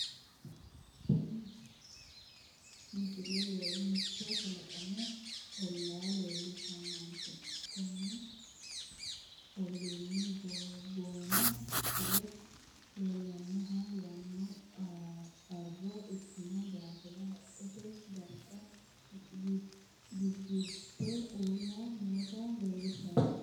tini misile mitto kalaqmu ollaa leellishshannote kuni olliino boono fule leellannohonna yanano arro ikkitino daafo haqqete daro giggilte uulla noota leellishshannote